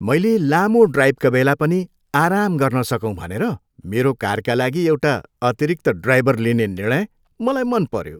मैले लामो ड्राइभका बेला पनि आराम गर्न सकौँ भनेर मेरो कारका लागि एउटा अतिरिक्त ड्राइभर लिने निर्णय मलाई मन पऱ्यो।